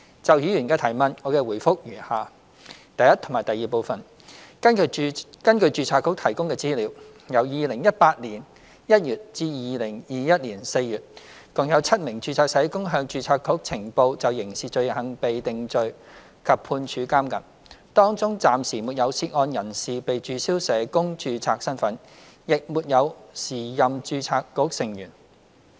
就議員的質詢，我的答覆如下：一及二根據註冊局提供的資料，由2018年1月至2021年4月，共有7名註冊社工向註冊局呈報就刑事罪行被定罪及判處監禁，當中暫時沒有涉案人士被註銷社工註冊身份，亦沒有時任註冊局成員。